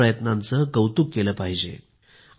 अशा प्रयत्नांचे कौतुक केले पाहिजे